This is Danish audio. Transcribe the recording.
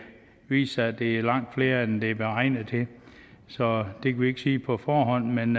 viser sig at det er langt flere end det er beregnet til så det kan vi ikke sige på forhånd men